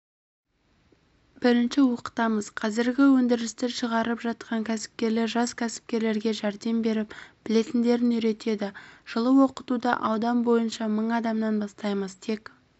бірінші оқытамыз қазіргі өндірісті шығарып жатқан кәсіпкерлер жас кәсіпкерлерге жәрдем беріп білетіндерін үйретеді жылы оқытуды аудан бойынша мың адамнан бастаймыз тек